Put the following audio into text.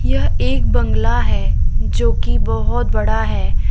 यह एक बंगला है जो की बहोत बड़ा है।